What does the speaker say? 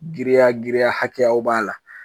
Giriya giriya hakɛyaw b'a la